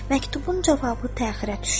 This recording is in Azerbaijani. Məktubun cavabı təxirə düşdü.